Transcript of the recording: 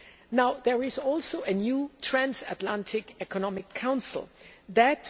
Now there is also a new Transatlantic Economic Council That